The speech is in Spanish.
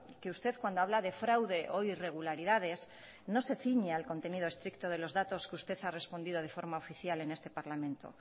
que usted cuando habla de fraude o irregularidades no se ciñe al contenido estricto de los datos que usted ha respondido de forma oficial en este parlamento